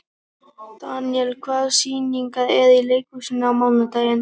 Daniel, hvaða sýningar eru í leikhúsinu á mánudaginn?